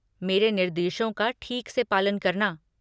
मेरे निर्देशों का ठीक से पालन करना।